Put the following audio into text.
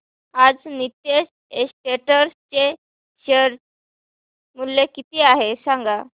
आज नीतेश एस्टेट्स चे शेअर मूल्य किती आहे सांगा